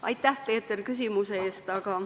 Aitäh, Peeter, küsimuse eest!